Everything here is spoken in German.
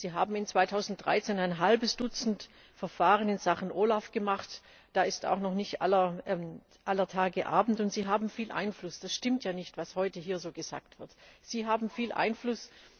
Sie haben im Jahr 2013 ein halbes Dutzend Verfahren in Sachen OLAF gemacht. Da ist auch noch nicht aller Tage Abend. Und Sie haben viel Einfluss es stimmt ja nicht, was heute hier so gesagt wird, Sie haben viel Einfluss!